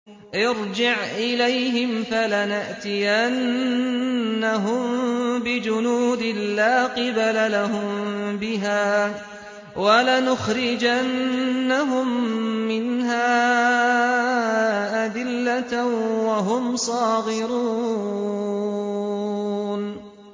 ارْجِعْ إِلَيْهِمْ فَلَنَأْتِيَنَّهُم بِجُنُودٍ لَّا قِبَلَ لَهُم بِهَا وَلَنُخْرِجَنَّهُم مِّنْهَا أَذِلَّةً وَهُمْ صَاغِرُونَ